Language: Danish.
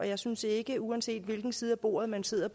jeg synes ikke uanset hvilken side af bordet man sidder